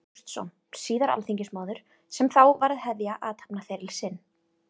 Ágústsson, síðar alþingismaður, sem þá var að hefja athafnaferil sinn.